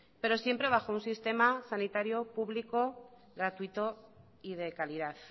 pero siempre bajo un sistema sanitario público gratuito y de calidad